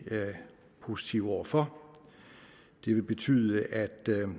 positive over for det vil betyde at